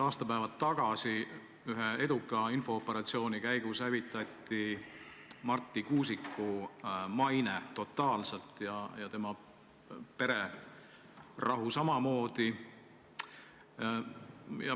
Aastapäevad tagasi hävitati ühe eduka infooperatsiooni käigus totaalselt Marti Kuusiku maine ja tema pererahu samamoodi.